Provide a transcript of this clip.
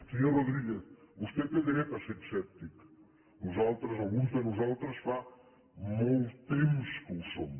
senyor rodríguez vostè té dret a ser escèptic nosaltres alguns de nosaltres fa molt temps que ho som